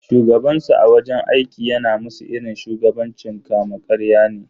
Shugabansu a wajen aiki yana musu irin shugabancin kama karya ne.